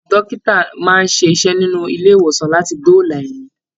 Dókítà máa n ṣiṣẹ nínú ilé ìwòsan láti doola ẹ̀mi